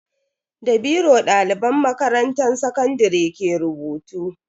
Da biro daliban makarantan sakandare ke rubutu.